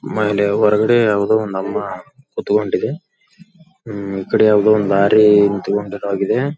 ಆಮೇಲೆ ಹೊರಗಡೆ ಯಾವುದೊ ಒಂದು ಅಮ್ಮ ಕುತ್ಕೊಂಡಿದೆ ಈ ಕಡೆ ಯಾವುದೊ ಲಾರಿ ನಿತ್ಕೊಂಡಿರೋ ಹಾಗಿದೆ--